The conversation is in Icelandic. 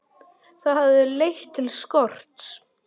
Það hafi leitt til skorts.